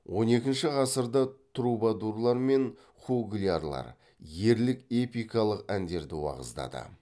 он екінші ғасырда трубадурлар мен хуглярлар ерлік эпикалық әндерді уағыздады